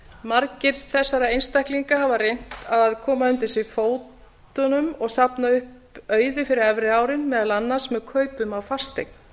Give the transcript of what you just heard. margir þessara einstaklinga hafa reynt að koma undir sig fótunum og safna upp auði fyrir efri árin meðal annars með kaupum á fasteign